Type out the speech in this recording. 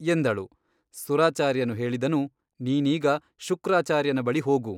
ಎಂದಳು ಸುರಾಚಾರ್ಯನು ಹೇಳಿದನು ನೀನೀಗ ಶುಕ್ರಾಚಾರ್ಯನ ಬಳಿ ಹೋಗು.